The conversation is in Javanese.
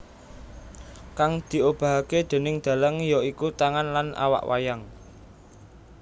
Kang diobahkake déning dalang ya iku tangan lan awak wayang